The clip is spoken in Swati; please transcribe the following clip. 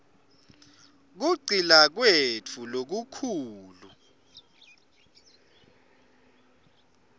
kugcila kwetfu lokukhulu